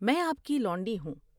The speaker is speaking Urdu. میں آپ کی لونڈی ہوں ۔